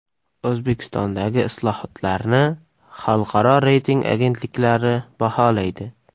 O‘zbekistondagi islohotlarni xalqaro reyting agentliklari baholaydi.